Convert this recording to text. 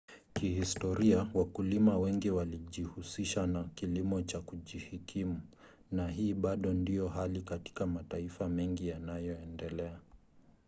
kihistoria wakulima wengi walijihusisha na kilimo cha kujikimu na hii bado ndiyo hali katika mataifa mengi yanayoendelea